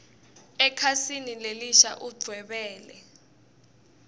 ekhasini lelisha udvwebele